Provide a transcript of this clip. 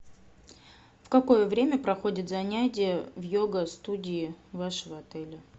в какое время проходит занятие в йога студии вашего отеля